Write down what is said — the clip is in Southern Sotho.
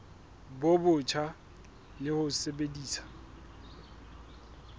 bo botjha le ho sebedisa